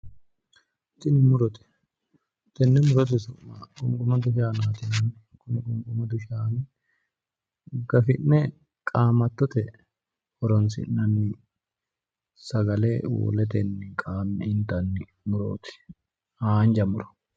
Tiini murote. Tenne murote su'ma qunqumado shaanaati yinanni. Kuni qunqumadu shaani gafi'ne qaamattote horoonsi'nanni. Sagale woletenni qaamme intanni murooti. Haanja muro.